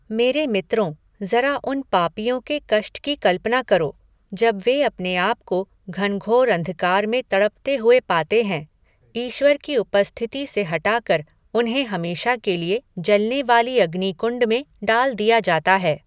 मेरे मित्रों, जरा उन पापियों के कष्ट की कल्पना करो, जब वे अपने आप को घनघोर अंधकार में तड़पते हुए पाते हैं। ईश्वर की उपस्थिति से हटाकर, उन्हें हमेशा के लिए जलने वाले अग्नि कुंड में डाल दिया जाता है।